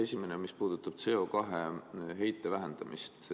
Esimene puudutab CO2 heite vähendamist.